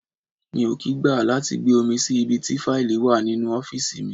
Mi ò kì í gbà láti gbé omi sí ibi tí faili wà nínú ọ́fíìsì mi.